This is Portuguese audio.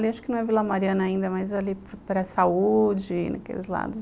Acho que não é Vila Mariana ainda, mas ali para saúde, naqueles lados.